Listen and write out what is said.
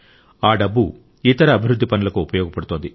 ఆ డబ్బు ఇతర అభివృద్ధి పనులకు ఉపయోగపడుతోంది